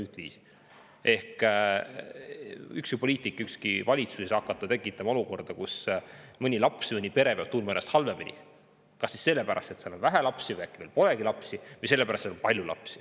Ükski poliitik, ükski valitsus ei tekitada olukorda, kus mõni laps või mõni pere peab tundma ennast halvemini, kas siis sellepärast, et neil on vähe lapsi või polegi veel lapsi, või sellepärast, et on palju lapsi.